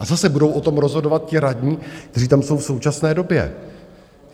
A zase, budou o tom rozhodovat ti radní, kteří tam jsou v současné době.